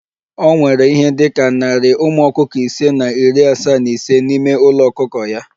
O nwere ihe dị ka narị ụmụ ọkụkọ ise na iri asaa na ise n'ime ulo ọkụkọ ya